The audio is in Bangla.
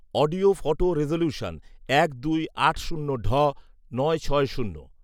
অডিও ফটো রেজোলিউশন এক দুই আট শূন্য ঢ নয় ছয় শূন্য